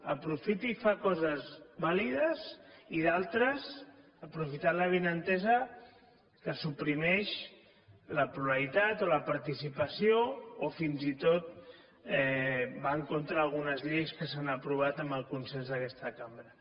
aprofita i fa coses vàlides i d’altres aprofitant l’avinentesa que suprimeix la pluralitat o la participació o fins i tot va en contra d’algunes lleis que s’han aprovat amb el consens d’aquesta cambra